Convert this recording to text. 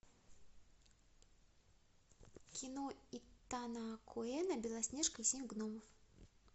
кино итана коэна белоснежка и семь гномов